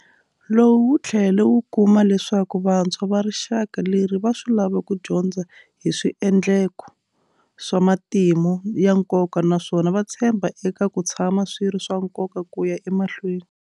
Lowu wu tlhele wu kuma leswaku vantshwa va rixaka leri va swi lava ku dyondza hi swiendleko swa matimu ya nkoka naswona va tshemba eka ku tshama swi ri swa nkoka ku ya emahlweni.